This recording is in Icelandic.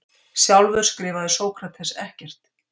Sjálfur skrifaði Sókrates ekkert.